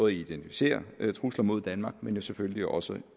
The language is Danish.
identificere trusler mod danmark men jo selvfølgelig også